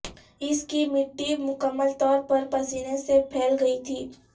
اس کی مٹی مکمل طور پر پسینے سے پھیل گئی تھی